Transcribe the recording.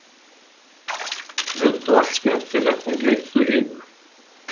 Mundu allt skemmtilegt en gleymdu hinu.